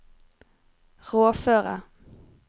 rådføre